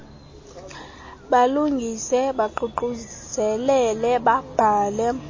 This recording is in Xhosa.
balungise baququzelele babhale